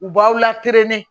U b'aw lakelenni